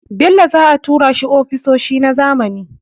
Bello za a tura shi ofisoshi na zamani.